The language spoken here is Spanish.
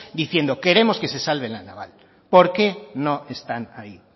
diciendo queremos que se salve la naval por qué no están ahí